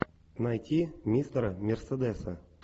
найти мистера мерседеса